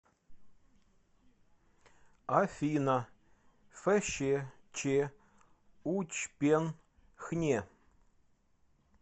афина фщ ч учпен хне